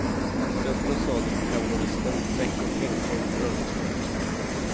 Stövel och sadel för kavalleristen, säck och hängkoj för örlogsmatrosen.